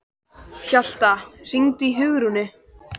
Hjalta, hringdu í Hugrúnu.